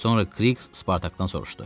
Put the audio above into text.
Sonra Kriks Spartakdan soruşdu.